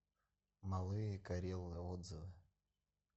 малые карелы отзывы